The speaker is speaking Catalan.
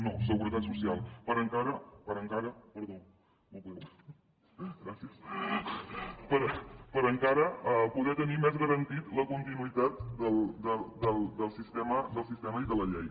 no seguretat social per encara poder tenir més garantida la continuïtat del sistema i de la llei